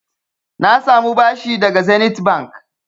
Na sami bashi daga Zenith Bank.